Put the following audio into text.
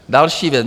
Další věc.